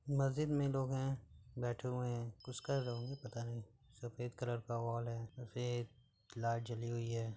मस्जिद में लोग हैं। बैठे हुए हैं। कुछ कर रहे होंगे पता नहीं। सफ़ेद कलर का वॉल है। सफ़ेद लाईट जली हुई है।